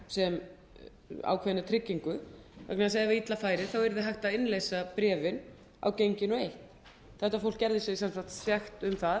sem ákveðinni tryggingu vegna þess að ef illa væri væri hægt að innleysa bréfin á genginu eitt þetta fólk geri sig sekt um það